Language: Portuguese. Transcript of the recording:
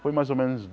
Foi mais ou menos